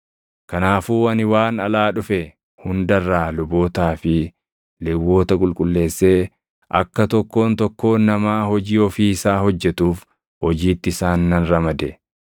Kanaafuu ani waan alaa dhufe hunda irraa lubootaa fi Lewwota qulqulleessee akka tokkoon tokkoon namaa hojii ofii isaa hojjetuuf hojiitti isaan nan ramade.